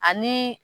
Ani